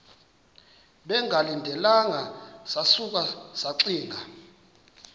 bengalindelanga sasuka saxinga